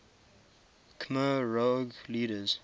khmer rouge leaders